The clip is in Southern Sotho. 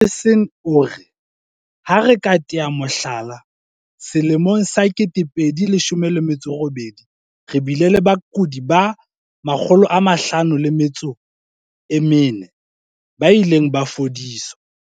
Harrison o re, "Ha re tea ka mohlala, selemong sa 2018 re bile le bakudi ba 514 ba ileng ba fodiswa".